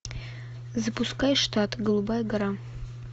запускай штат голубая гора